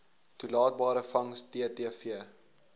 toelaatbare vangs ttv